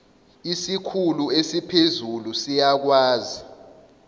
isikhulu esiphezulu siyakwazi